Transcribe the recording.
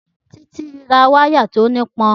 Títí ra wáyà tí ó nípọn